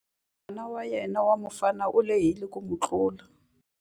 N'wana wa yena wa mufana u lehile ku n'wi tlula.